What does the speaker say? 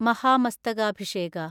Mahamastakabhisheka